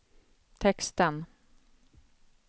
texten